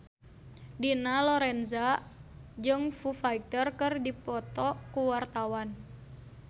Dina Lorenza jeung Foo Fighter keur dipoto ku wartawan